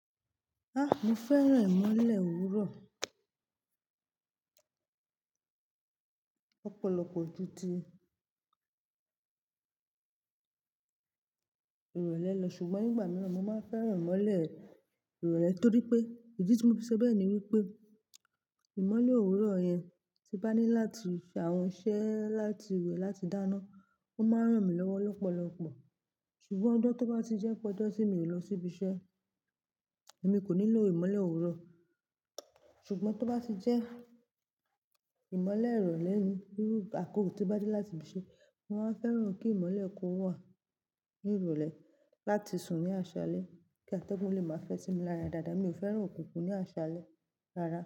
Ah, mo fẹ́ràn ìmọ́lẹ̀ òwúrọ̀ lọ̀pọ̀lọpọ̀ gidi ìrọ̀lẹ́ lọ, ṣùgbọ́n nígbà mìíràn mo máa fẹ́ràn ìmọ́lẹ̀ ìrọ̀lẹ́ torí pé, idí tí mo fi sọ bẹ́ẹ̀ ni wípé ìmọ́lẹ̀ òwúrọ̀ yẹn tí bá ní láti ṣe àwọn iṣẹ́ láti wẹ̀ láti dáná, ó máa ń ràn mí lọ́wọ́ lọ́pọ̀lọpọ̀. Ṣùgbọ́n ọjọ́ tó bá ti jẹ́ pe ọjọ tí mi ò lọ síbi iṣẹ́, èmi kò nílò ìmọ́lẹ̀ òwúrọ̀. Ṣùgbọ́n tó bá ti jẹ́ ìmọ́lẹ̀ ìrọ̀lẹ́ ni irú àkókò tí ó bá dé láti ibi ise, mo máa ń fẹ́ràn kí ìmọ́lẹ̀ kó wà ní ìrọ̀lẹ́ láti sùn ní àṣálẹ́ kí atẹ́gùn lè máa fẹ́ sí mi lára dáadáa, mi ò fẹ́ràn òkùnkùn ní àṣálẹ́ rárá.